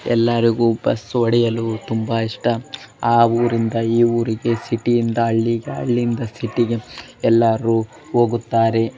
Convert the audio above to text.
ಎಲ್ಲರಿಗೂ ಬಸ್ಸು ಹೊಡೆಯಲು ತುಂಬಾ ಇಷ್ಟ ಆ ಊರಿಂದ ಈ ಊರಿಗೆ ಸಿಟಿ ಯಿಂದ ಹಳ್ಳಿಗೆ ಹಳ್ಳಿಯಿಂದ ಸಿಟಿ ಗೆ ಎಲ್ಲರೂ ಹೋಗುತ್ತಾರೆ.